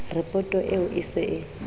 ripoto eo e se e